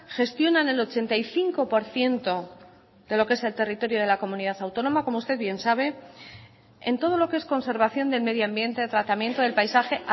gestionan el ochenta y cinco por ciento de lo que es el territorio de la comunidad autónoma como usted bien sabe en todo lo que es conservación del medioambiente tratamiento del paisaje